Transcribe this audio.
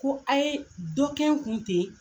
Ko a' ye dɔ kɛ n kun ten